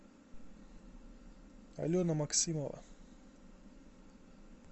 алена максимова